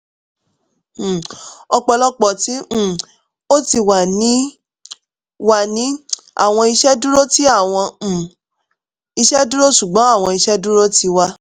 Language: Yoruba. um ọpọlọpọ ti um o ti wa ni wa ni awọn iṣeduro ti awọn um iṣeduro ṣugbọn awọn iṣeduro ti wa